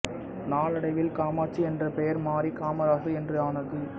நாளடைவில் காமாட்சி என்ற பெயர் மாறி காமராசு என்று ஆனது